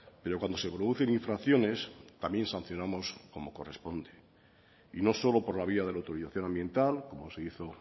pero cuando se producen infracciones también sancionamos como corresponde y no solo por la vía de la autorización ambiental como se hizo